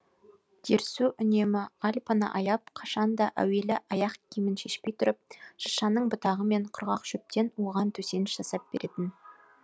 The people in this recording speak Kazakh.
дерсу үнемі альпаны аяп қашанда әуелі аяқ киімін шешпей тұрып шыршаның бұтағы мен құрғақ шөптен оған төсеніш жасап беретін